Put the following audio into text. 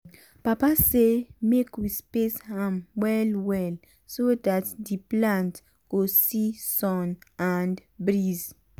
papa say make we space am well well so dat d plant go see sun and breeze.